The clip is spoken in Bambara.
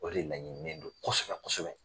O de laɲininen do kosɛbɛ kosɛbɛ.